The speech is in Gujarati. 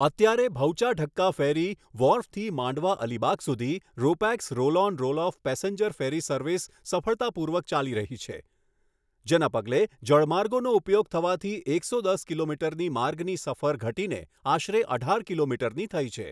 અત્યારે ભઉચા ઢક્કા ફેરી વ્હોર્ફથી માંડવા અલીબાગ સુધી ropax roll on roll off passenger ferry service સફળતાપૂર્વક ચાલી રહી છે, જેના પગલે જળમાર્ગોનો ઉપયોગ થવાથી એકસો દસ કિલોમીટરની માર્ગની સફર ઘટીને આશરે અઢાર કિલોમીટરની થઈ છે.